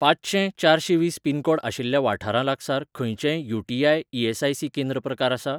पांचशें चारशेंवीस पिनकोड आशिल्ल्या वाठारा लागसार खंयचेंय यू.टी.आय. ई.एस.आय.सी.केंद्र प्रकार आसा ?